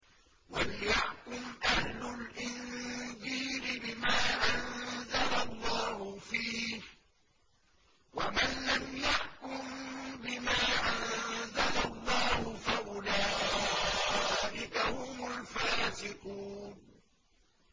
وَلْيَحْكُمْ أَهْلُ الْإِنجِيلِ بِمَا أَنزَلَ اللَّهُ فِيهِ ۚ وَمَن لَّمْ يَحْكُم بِمَا أَنزَلَ اللَّهُ فَأُولَٰئِكَ هُمُ الْفَاسِقُونَ